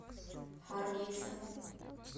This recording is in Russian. харгейса